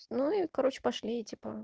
ну и короче пошли типа